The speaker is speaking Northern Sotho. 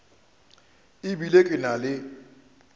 e bile ke na le